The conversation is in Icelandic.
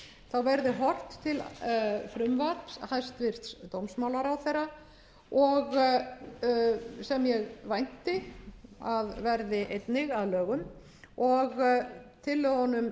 fyrir verði horft til frumvarps hæstvirtur dómsmálaráðherra sem ég vænti að verði einnig að lögum og tillögunum